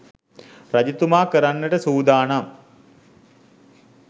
රජතුමා කරන්නට සූදානම්